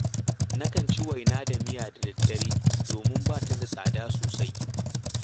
Nakan ci waina da miya da daddare, domin ba ta da tsada sosai